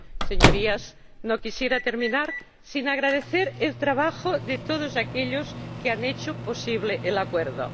Señorías, no quisiera terminar sin agradecer el trabajo de todos aquellos que han hecho posible el acuerdo.